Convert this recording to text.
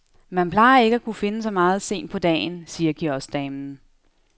Man plejer ikke at kunne finde så meget sent på dagen, siger kioskdamen.